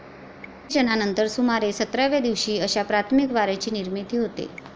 निशेचनानंतर सुमारे सतराव्या दिवशी अशा प्राथमिक वारेची निर्मिती होते.